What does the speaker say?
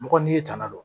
Mɔgɔ n'i ye tanga don